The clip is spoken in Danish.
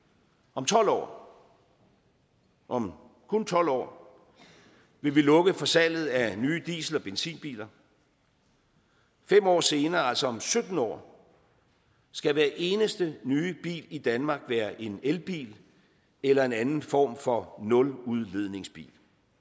om tolv år om om kun tolv år vil vi lukke for salget af nye diesel og benzinbiler fem år senere altså om sytten år skal hver eneste nye bil i danmark være en elbil eller en anden form for nuludledningsbil